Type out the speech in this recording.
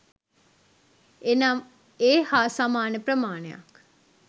එනම් ඒ හා සමාන ප්‍රමාණයක්